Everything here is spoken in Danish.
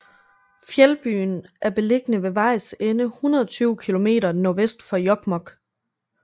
Fjeldbyen er beliggende ved vejs ende 120 kilometer nordvest for Jokkmokk